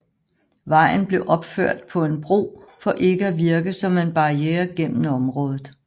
Vejen blev opført på en bro for ikke at virke som en barriere gennem området